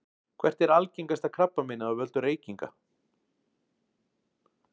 hvert er algengasta krabbameinið af völdum reykinga